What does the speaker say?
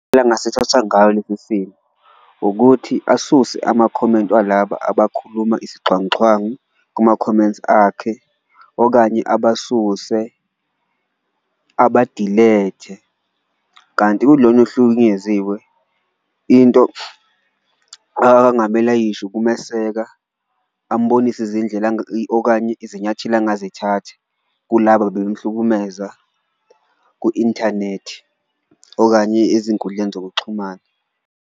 Ukuthi asuse abakhomenti walaba abakhuluma isixhwanguxhwangu kuma-comments akhe okanye abasuse abadilethe. Kanti kulona ohlukunyeziwe into angamele ayisho ukumeseka, ambonise izindlela okanye izinyathelo angazithatha kulaba bebemhlukumeza ku-inthanethi okanye ezinkundleni zokuxhumana.